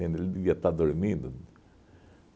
Ele devia estar dormindo.